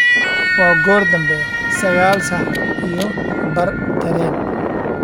waa goor dambe sagal sax iyo baar tareen